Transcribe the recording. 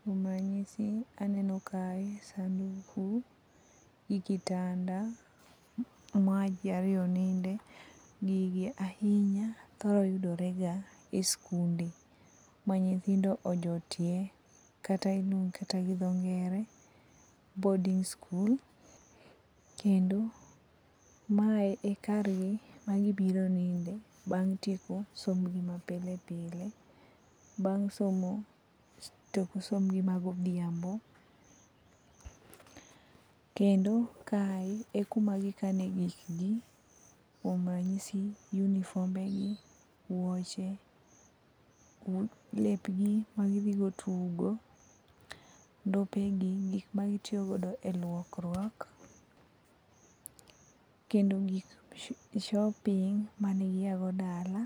Kuon ranyisi aneno kae sanduku gi kitanda maji ariyo ninde gigi ahinya thoro yudorega e sikunde manyithindo ojotie kata iluongo gi dho ngere boarding school. Kendo mae e kargi ma gibiro nindoe bang' bang' tieko sombgi ma pile pile, bang' somo tok sombgi ma godhiambo. Kendo kae e kuma gikane gikgi kuom ranyisi unifombegi, wuoche, lepgi magidhigo tugo, ndopegi gik magitiyogo e lukruok, kendo gi shopping mane giago dala.